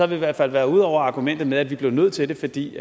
vi i hvert fald været ude over argumentet med at vi blev nødt til det fordi